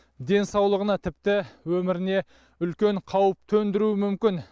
денсаулығына тіпті өміріне үлкен қауіп төндіруі мүмкін